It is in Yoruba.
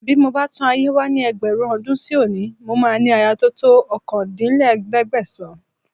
Bí mo bá tún ayé wá ní ẹgbẹ̀rún ọdún sí òní, mo máa ní aya tó to ọkàndínlẹ́ẹ̀ẹ́dẹ́gbẹ̀sàn-án